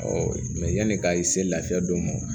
mɛ yani ka i se lafiya don